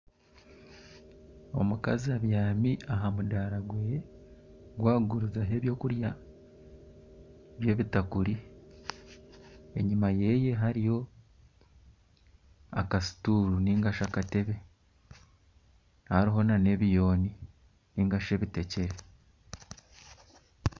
Omukazi abyami aha mudaara gwe ogu arikugurizaho eby'okurya by'ebitakuri enyuma ye hariyo akasituru nigashi akatebe hariho n'ebiyooni nigashi ebiteekyere.